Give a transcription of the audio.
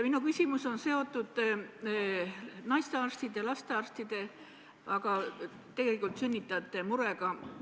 Minu küsimus on seotud naistearstide, lastearstide, aga tegelikult sünnitajate murega.